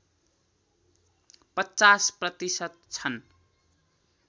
५० प्रतिशत छन्